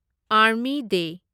army ꯗꯦ